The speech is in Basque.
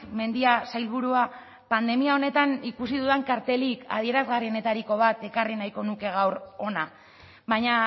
mendia sailburua pandemia honetan ikusi dudan kartelik adierazgarrienetariko bat ekarri nahiko nuke gaur hona baina